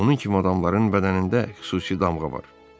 Onun kimi adamların bədənində xüsusi damğa var.